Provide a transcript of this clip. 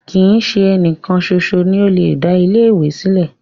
Kii ṣe ẹnìkan ṣoṣo ni o le da ilẹ ìwé sílẹ̀.